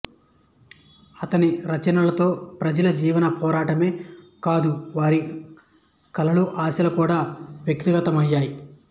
అతని రచనలలో ప్రజల జీవన పోరాటమే కాదు వారి కలలుఆశలు కూడా వ్యక్తమవుతాయి